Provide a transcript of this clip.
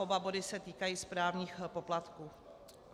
Oba body se týkají správních poplatků.